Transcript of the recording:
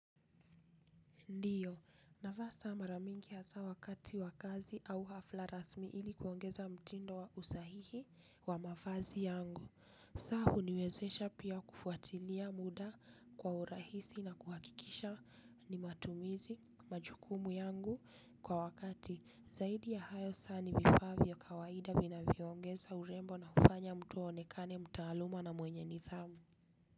Ndiyo, navaa saa mara mingi hasa wakati wa kazi au hafla rasmi ili kuongeza mtindo wa usahihi wa mavazi yangu. Saa huniwezesha pia kufuatilia muda kwa urahisi na kuhakikisha ni matumizi majukumu yangu kwa wakati. Zaidi ya hayo saa nimevaa ni ya kawaida vinavyongeza urembo na hufanya mtu aonekane mtaaluma na mwenye nidhamu.